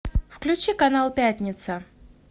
включи канал пятница